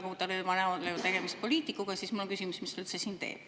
Ja kui tema näol ei ole tegemist poliitikuga, siis mul on küsimus, mis ta üldse siin teeb.